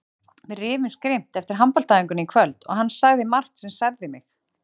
Við rifumst grimmt eftir handboltaæfinguna í kvöld og hann sagði margt sem særði mig.